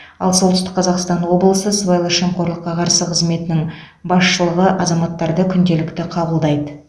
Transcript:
ал солтүстік қазақстан облысы сыбайлас жемқорлыққа қарсы қызметінің басшылығы азаматтарды күнделікті қабылдайды